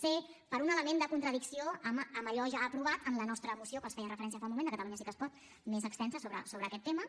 c per un element de contradicció amb allò ja aprovat en la nostra moció a què els feia referència fa un moment de catalunya sí que es pot més extensa sobre aquest tema